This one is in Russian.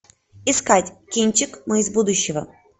искать кинчик мы из будущего